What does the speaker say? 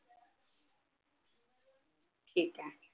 ठीक आहे